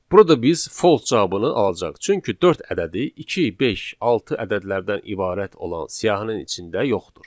Burada biz false cavabını alacağıq, çünki dörd ədədi 2, 5, 6 ədədlərdən ibarət olan siyahının içində yoxdur.